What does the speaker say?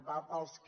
va pels que